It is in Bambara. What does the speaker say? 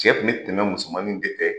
Cɛ kun bi tɛmɛ musomanminw de